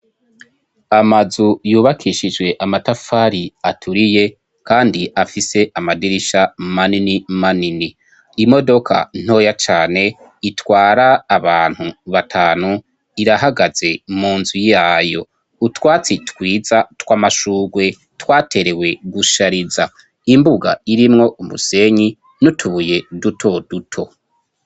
Amazu yubakishije amatafari aturiye kandi afise amadirisha manini manini. Imodoka ntoya cane itwara abantu batanu irahagaze mu nzu yayo. Utwatsi twiza tw'amashugwe twaterewe gushariza, imbuga irimwo umusenyi n'utubuye duto duto.